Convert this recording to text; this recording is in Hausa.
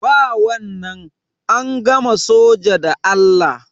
Ba wannan, an gama soja da Allah.